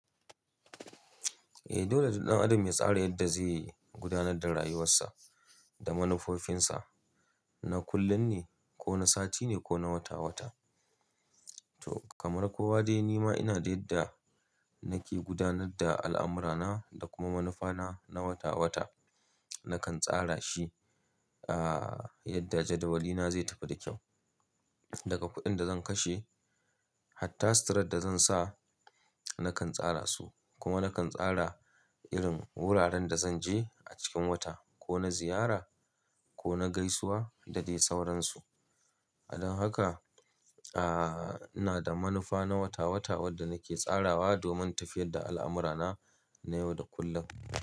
Eh, dole ɗan adam ya tsara yadda zai gudanar da rayuwarsa da manufofinsa, na kullum ne ko na sati ne ko na wata-wata. To kamar kowa dai ni ma ina da yadda nake gudanar da al'amurana da kuma manufana na wata-wata. Nakan tsara shi, ah, yadda jadawalina zai tafi da kyau. Daga kuɗin da zan kashe har ta sutaran da zan sa nakan tsara su. Kuma nakan tsara irin wuraren da zan je a cikin wata ko na ziyara ko na gaisuwa da dai sauransu. Don haka, ah, ina da manufa na wata-wata wadda nake tsarawa domin tafiyar da al'amurana na yau da kullum.